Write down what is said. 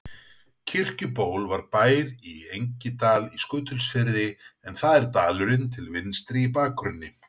Kirkjuból var bær í Engidal í Skutulsfirði en það er dalurinn til vinstri í bakgrunni.